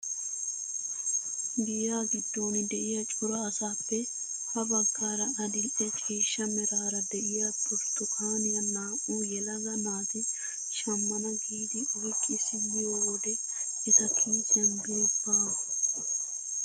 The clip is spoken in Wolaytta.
Giyaa giddon de'iyaa cora asaappe ha baggaara adil'e ciishsha meraara de'iyaa burtukaaniyaa naa"u yelaga naati shammana giidi oyqqi simmiyoo wode eta kiisiyan biri baawa!